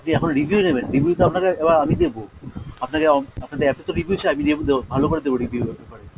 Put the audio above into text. আপনি এখনও review নেবেন? review তো আপনাকে এবার আমি দেবো, আপনাকে , আপনাদের এত তো review চাই, আমি review দেবো, ভালো করে দেবো review একেবারে।